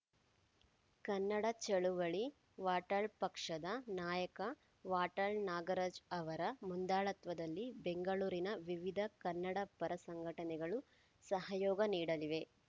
ಕನ್ನಡ ಚಳವಳಿ ವಾಟಾಳ್‌ ಪಕ್ಷದ ನಾಯಕ ವಾಟಾಳ್‌ ನಾಗರಾಜ್‌ ಅವರ ಮುಂದಾಳತ್ವದಲ್ಲಿ ಬೆಂಗಳೂರಿನ ವಿವಿಧ ಕನ್ನಡ ಪರ ಸಂಘಟನೆಗಳು ಸಹಯೋಗ ನೀಡಲಿವೆ